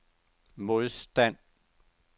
modstand